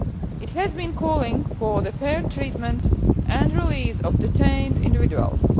It has been calling for the fair treatment and release of detained individuals.